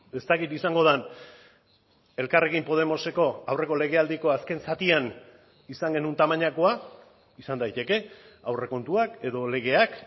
ez dakit izango den elkarrekin podemoseko aurreko legealdiko azken zatian izan genuen tamainakoa izan daiteke aurrekontuak edo legeak